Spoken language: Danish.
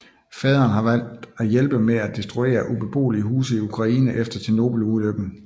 Faderen var valgt til at hjælpe med at destruere ubeboelige huse i Ukraine efter Tjernobylulykken